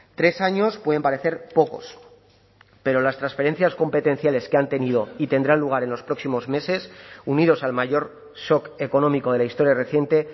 tres años pueden parecer pocos pero las transferencias competenciales que han tenido y tendrán lugar en los próximos meses unidos al mayor shock económico de la historia reciente